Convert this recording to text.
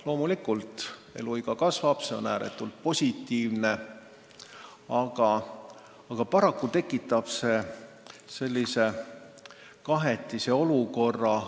Loomulikult keskmine eluiga kasvab ja see on ääretult positiivne, aga paraku tekitab see kahetise olukorra.